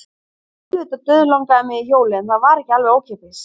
Jú, auðvitað dauðlangaði mig í hjólið en það var ekki alveg ókeypis.